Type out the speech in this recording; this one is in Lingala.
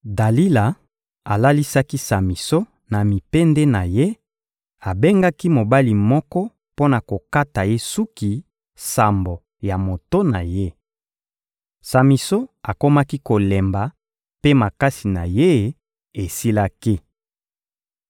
Dalila alalisaki Samison na mipende na ye, abengaki mobali moko mpo na kokata ye suki sambo ya moto na ye. Samison akomaki kolemba, mpe makasi na ye esilaki.